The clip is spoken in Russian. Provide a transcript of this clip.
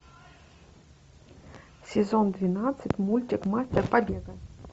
сезон двенадцать мультик мастер побега